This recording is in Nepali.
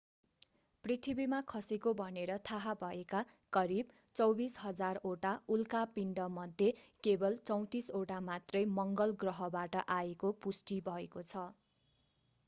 पृथ्वीमा खसेको भनेर थाहा भएका करिब 24,000 वटा उल्का पिण्डमध्ये केवल 34 वटा मात्रै मंगल ग्रहबाट आएको पुष्टि भएको छ